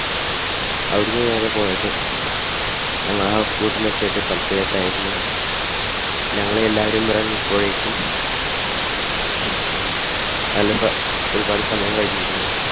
അവിടുന്ന് നേരെ പോയത് ഞങ്ങൾ house boat നിർത്തിയിട്ട സ്ഥലത്തേക്ക് ആയിരുന്നു. ഞങ്ങളെല്ലാവരും ഇറങ്ങിപ്പോയേക്കും നല്ല ഒരുപാട് സമയം കഴിഞ്ഞിരുന്നു.